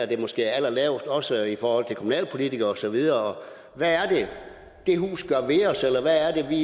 det måske er allerlavest også i forhold til kommunalpolitikere og så videre hvad er det det hus gør ved os eller hvad er det vi